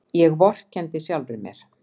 Ég vorkenndi sjálfri mér.